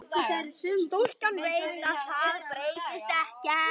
Stúlkan veit að það breytist ekkert.